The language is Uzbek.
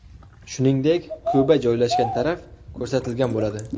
Shuningdek, Ka’ba joylashgan taraf ko‘rsatilgan bo‘ladi.